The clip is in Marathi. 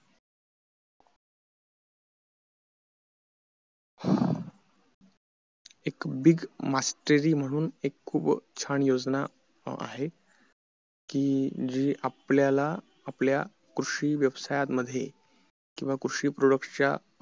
एक big mastry म्हणून एक खूप छान योजना आहे जी आपल्याला आपल्या कृषी व्यवसायामध्ये किंवा कृषी products च्या